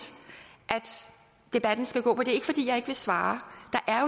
at debatten skal gå på det ikke fordi jeg ikke vil svare